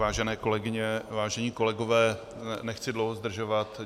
Vážené kolegyně, vážení kolegové, nechci dlouho zdržovat.